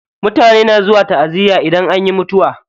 Mutane na zuwa taʼaziya idan anyi mutuwa.